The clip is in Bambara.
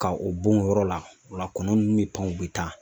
Ka o bon o yɔrɔ la, o la kɔnɔ nunnu mi pan u bi taa